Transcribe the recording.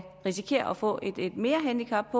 risikere at få et merhandicap